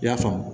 I y'a faamu